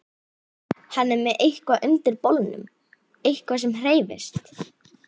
Hann er með eitthvað undir bolnum, eitthvað sem hreyfist.